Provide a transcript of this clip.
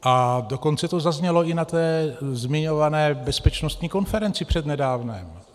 A dokonce to zaznělo i na té zmiňované bezpečnostní konferenci přednedávnem.